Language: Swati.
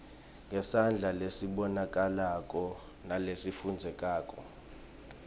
ngesandla lesibonakalako nalesifundzekako